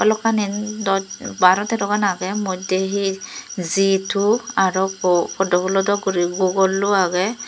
balokkani doch baro tero gan agey moddey he G two aro ukko poddo pulo dok guri googllo agey.